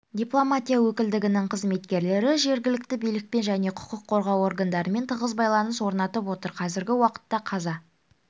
дипломатия өкілдігінің қызметкерлері жергілікті билікпен және құқық қорғау органдарымен тығыз байланыс орнатып отыр қазіргі уақытта қаза